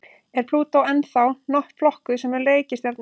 Er Plútó ennþá flokkuð sem reikistjarna?